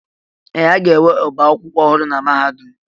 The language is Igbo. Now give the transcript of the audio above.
Ee! A ga-enwe ọbá akwụkwọ ọhụrụ na mahadum.